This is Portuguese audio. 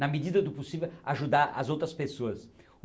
Na medida do possível ajudar as outras pessoas.